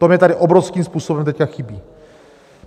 To mně tady obrovským způsobem teď chybí.